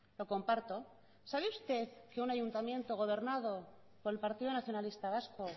lo comparto sabe usted que un ayuntamiento gobernado por el partido nacionalista vasco